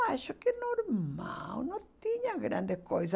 Eu acho que é normal, não tinha grande coisa.